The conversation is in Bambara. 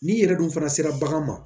N'i yɛrɛ dun fana sera bagan ma